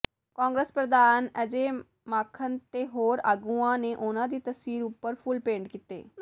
ਕਾਂਗਰਸ ਪ੍ਰਧਾਨ ਅਜੈ ਮਾਕਨ ਤੇ ਹੋਰ ਆਗੂਆਂ ਨੇ ਉਨ੍ਹਾਂ ਦੀ ਤਸਵੀਰ ਉਪਰ ਫੁੱਲ ਭੇਟ ਕੀਤੇ